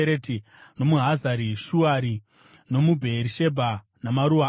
nomuHazari Shuari, nomuBheerishebha namaruwa aro,